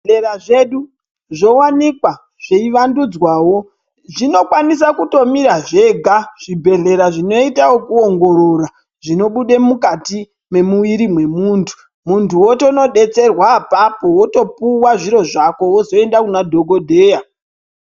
Zvibhedhlera zvedu zvowanikwa zveivandudzwawo, zvinokwanisa kutomira zvega zvibhedhlera zvinoite zvekuongorora zvinobuda mukati memuviri memuntu, muntu otonodetserwa ipapo opuwa zviro zvako wozoenda kuna dhokodheya.